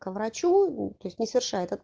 к врачу то есть не совершает